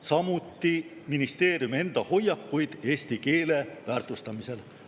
Samuti ministeeriumi enda hoiakuid eesti keele väärtustamisel.